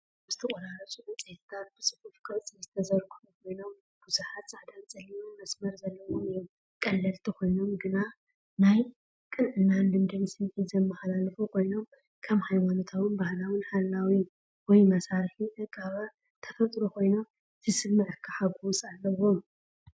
እቶም ዝተቐረፁ ዕንጨይቲታት ብጽፉፍ ቅርጺ ዝተዘርግሑ ኮይኖም፡ ብዙሓት ጻዕዳን ጸሊምን መስመር ዘለዎም እዮም። ቀለልቲ ኮይኖም ግን ናይ ቅንዕናን ልምድን ስምዒት ዘመሓላልፉ ኮይኖም፡ ከም ሃይማኖታዉን ባህላውን ሓላዊ ወይ መሳርሒ ዕቃበ ተፈጥሮ ኮይኑ ዝስምዓካ ሓጎስ ኣለዎም።